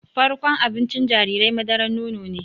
Farkon abincin jarirai madaran nono ne